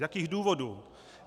Z jakých důvodů?